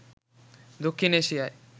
দক্ষিণ এশিয়ায়